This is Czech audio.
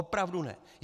Opravdu ne.